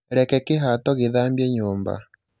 reke kihato gīthambie nyūmba